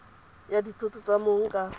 ya dithoto tsa mong ka